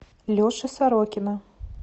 леши сорокина